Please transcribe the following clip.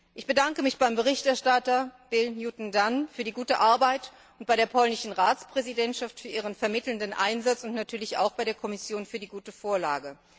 Ich bedanke mich beim Berichterstatter, Bill Newton Dunn, für die gute Arbeit und bei der polnischen Ratspräsidentschaft für ihren vermittelnden Einsatz und natürlich auch bei der Kommission für die gute Vorlage.